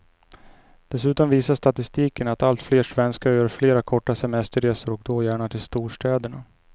Dessutom visar statistiken att allt fler svenskar gör flera korta semesterresor och då gärna till storstäderna.